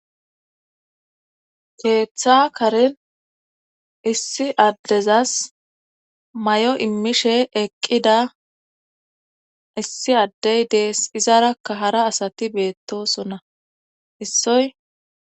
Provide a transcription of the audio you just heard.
keeththa karin issi addezas may7o immishe eqqida issi addey dees izarakka hara asati beettosona issoy